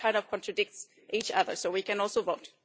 So that kind of contradicts each other, so we can also vote.